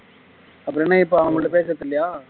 அப்புறம் என்ன இப்போ அவங்க கிட்ட பேசுறது இல்லையா